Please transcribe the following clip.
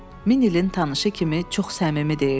Min illik tanışı kimi çox səmimi deyirdi.